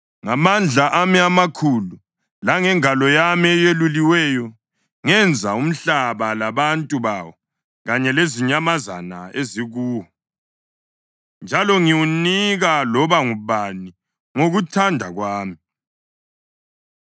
Ngamandla ami amakhulu langengalo yami eyeluliweyo ngenza umhlaba labantu bawo kanye lezinyamazana ezikuwo, njalo ngiwunika loba ngubani ngokuthanda kwami.